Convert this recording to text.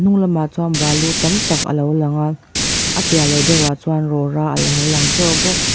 a hnung lamah chuan balu tam tak a lo lang a a piah leh deuhah chuan rora a lo lang bawk.